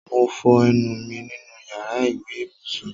Mo fọ ẹnu mi nínú yàrá ìwé ibùsùn